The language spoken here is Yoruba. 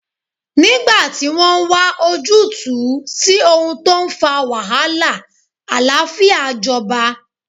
Nígbà tí wọ́n wa ojútùú sí ohun tó ń fa wàhálà, àlàáfíà jọba